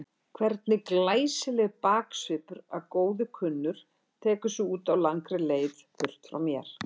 Hvernig glæsilegur baksvipur að góðu kunnur tekur sig út á langri leið burt frá mér.